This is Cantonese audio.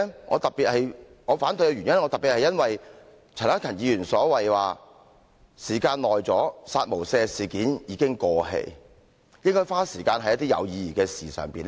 我反對的原因，特別是因為陳克勤議員說："時間久了，'殺無赦'事件已經過氣，應該花時間在一些有意義的事情上"。